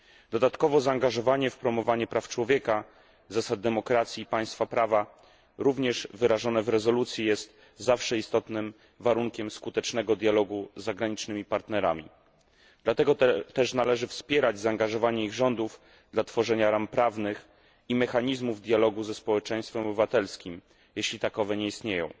Dodatkowo zaangażowanie w promowanie praw człowieka, zasad demokracji i państwa prawa również wyrażone w rezolucji jest zawsze istotnym warunkiem skutecznego dialogu z zagranicznymi partnerami. Dlatego też należy wspierać zaangażowanie ich rządów dla tworzenia ram prawnych i mechanizmów dialogu ze społeczeństwem obywatelskim jeśli takowe nie istnieją.